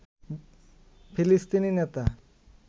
ফিলিস্তিনি নেতা